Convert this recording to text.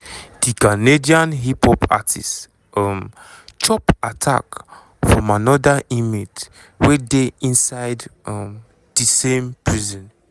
di canadian hip-hop artist um chop attack from anoda inmate wey dey inside um di same prison.